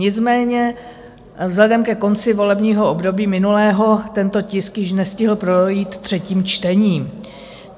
Nicméně vzhledem ke konci volebního období minulého tento tisk již nestihl projít třetím čtením.